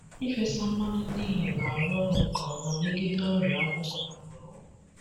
Ịfesa mmanụ neem na-arụ ọrụ nke ọma megide ọrịa akwụkwọ na mgbọrọgwụ.